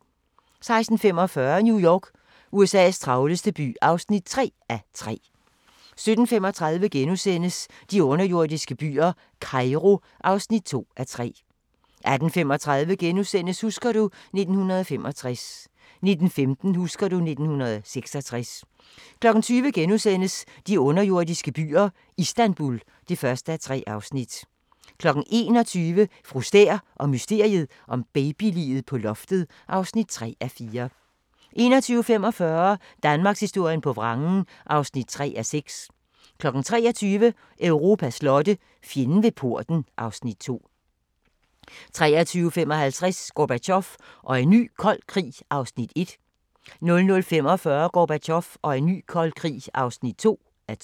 16:45: New York – USA's travleste by (3:3) 17:35: De underjordiske byer – Kairo (2:3)* 18:35: Husker du ... 1965 * 19:15: Husker du... 1966 20:00: De underjordiske byer - Istanbul (1:3)* 21:00: Fru Stæhr og mysteriet om babyliget på loftet (3:4) 21:45: Danmarkshistorien på vrangen (3:6) 23:00: Europas slotte: Fjenden ved porten (Afs. 2) 23:55: Gorbatjov og en ny kold krig (1:2) 00:45: Gorbatjov og en ny kold krig (2:2)